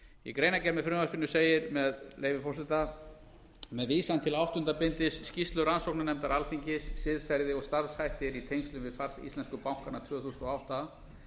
í greinargerð með frumvarpinu segir með leyfi forseta með vísan til áttunda bindis skýrslu rannsóknarnefndar alþingis siðferði og starfshættir í tengslum við fall íslensku bankanna tvö þúsund og átta